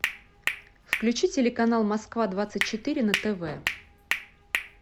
включи телеканал москва двадцать четыре на тв